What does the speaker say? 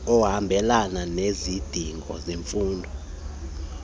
ohambelana nezidingo zemfundo